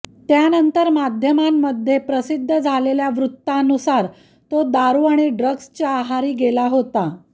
त्यानंतर माध्यमांमध्ये प्रसिद्ध झालेल्या वृत्तांनुसार तो दारू आणि ड्रग्जच्या आहारी गेला होता